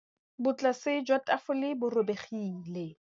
Botlasê jwa tafole bo robegile.